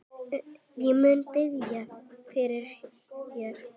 Ég mun biðja fyrir þér.